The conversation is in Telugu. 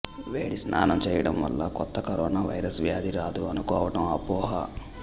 వేడి స్నానం చేయడం వల్ల కొత్త కరోనావైరస్ వ్యాధి రాదు అనుకోవటం అపోహ